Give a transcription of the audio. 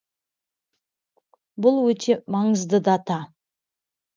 бұл өте маңызды дата